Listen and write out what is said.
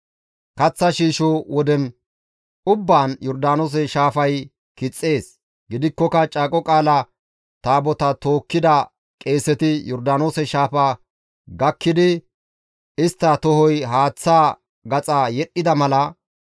Kaththa shiisho woden ubbaan Yordaanoose shaafay kixxees; gidikkoka Caaqo Qaala Taabotaa tookkida qeeseti Yordaanoose shaafa gakkidi istta tohoy haaththaa gaxa yedhdhida mala,